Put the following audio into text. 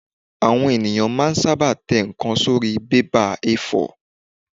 Àwọn èèyàn máa n sáábà tẹ ǹkan sórí bébà A4